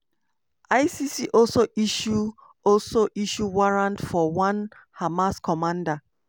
icc also issue also issue warrant for one hamas commander.